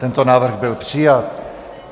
Tento návrh byl přijat.